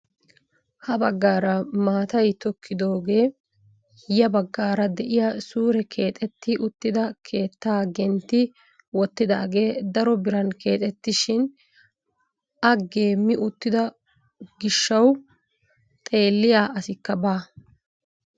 Ha baggaara maatay tokkidoogee ya baggaara de'iyaa suure keexetti uttida keettaa gentti wottidoogee daro biran keexetisishin a geemi uttido giishawu xeelliyaa asikka baa!